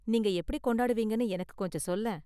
நீங்க எப்படி கொண்டாடுவீங்கனு எனக்கு கொஞ்சம் சொல்லேன்.